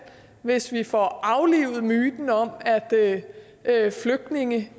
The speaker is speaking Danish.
hvis vi får aflivet myten om at at flygtninge